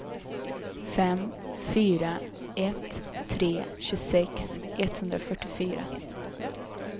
fem fyra ett tre tjugosex etthundrafyrtiofyra